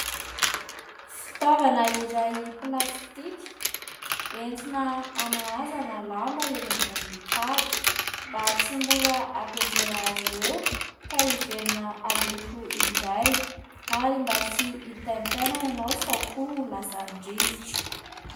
Fitaovana iray plastika entina anahazana lamba eny ambony tady, mba tsy mora hampianjera azy ireo ka hiverina haloto indray ary mba tsy hitaintaina ianao sao koa ho lasany rivotra.